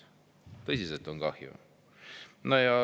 Tõsiselt on kahju.